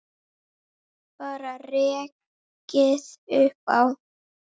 Bara rekið upp Á!